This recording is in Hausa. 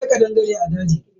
Akwai kadangarai a daji.